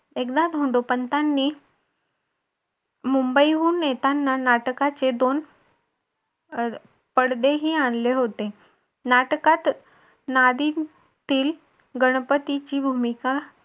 एकदा धोंडोपंतांनी मुंबईहून येताना नाटकाचे दोन पडदेही आणले होते. नाटकात नादीतील गणपतीची भूमिका